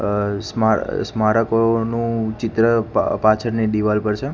આ સમા સ્મારકોનું ચિત્ર પા પાછળની દીવાલ પર છે.